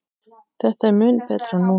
Þetta er mun betra núna.